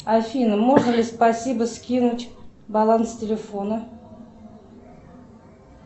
афина можно ли спасибо скинуть баланс телефона